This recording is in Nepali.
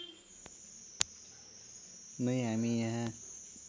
नै हामी यहाँ